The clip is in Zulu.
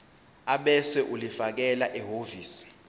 ebese ulifakela ehhovisi